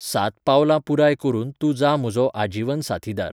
सात पावलां पुराय करून तूं जा म्हजो आजीवन साथीदार